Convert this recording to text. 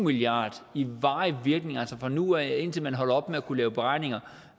milliarder i varig virkning altså fra nu af og indtil man holder op med at kunne lave beregninger